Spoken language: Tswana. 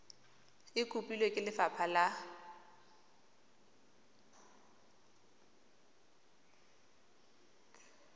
e kopilwe ke lefapha la